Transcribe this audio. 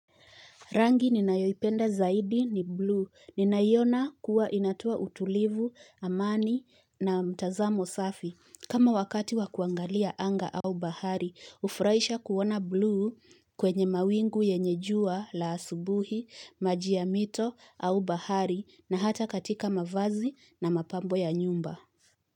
Rangi ninayoipenda zaidi ni bluu. Ninaiona kuwa inatoa utulivu, amani na mtazamo safi. Kama wakati wakuangalia anga au bahari, hufuraisha kuona bluu kwenye mawingu yenye jua la asubuhi, maji ya mito au bahari na hata katika mavazi na mapambo ya nyumba.